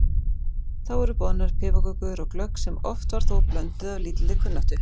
Þá voru boðnar piparkökur og glögg sem oft var þó blönduð af lítilli kunnáttu.